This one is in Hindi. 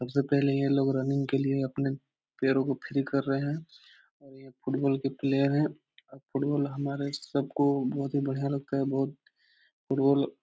सबसे पहले ये लोग रनिंग के लिए अपने पैरों को फ्री कर रहे हैं और ये फुटबॉल के प्लेयर है और फुटबॉल हमारे सबको बहुत ही बढ़िया लगता है बहुत फुटबॉल --